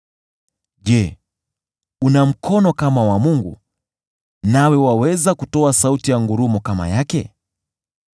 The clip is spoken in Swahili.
Je, una mkono kama wa Mungu, nawe waweza kutoa sauti ya ngurumo kama yake?